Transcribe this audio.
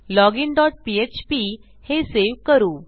login dot PHP हे save करू